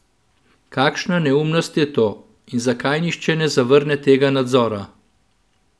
Kakšna neumnost je to in zakaj nihče ne zavrne tega nadzora?